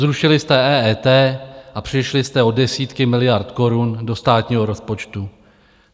Zrušili jste EET a přišli jste o desítky miliard korun do státního rozpočtu.